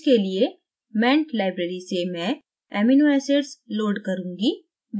इसके लिए ment library से मैं amino acids load करुँगी